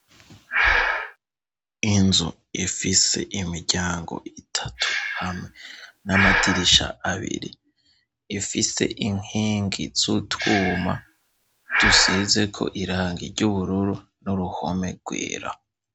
Inzu ifise imiryango itatu, hamwe n'amadirisha abiri ,ifise inkingi z'utwuma dusize ko irangi ry'ubururu, n'uruhome rwera .